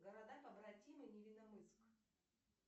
города побратимы невиномыск